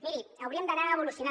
miri hauríem d’anar evolucionant